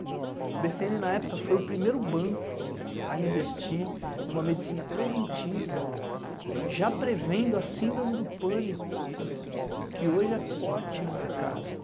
O bê cê ene, na época, foi o primeiro banco a investir em uma medicina preventiva, já prevendo a síndrome do pânico, que hoje é forte no mercado.